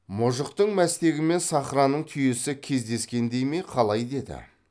мұжықтың мәстегі мен сахраның түйесі кездескендей ме қалай деді